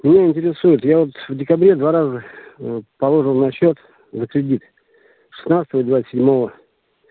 меня интересует я вот в декабре два раза положил на счёт за кредит шестнадцатого и двадцать седьмого